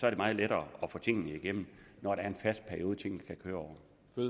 er meget lettere at få tingene igennem når der er en fast periode tingene kan køre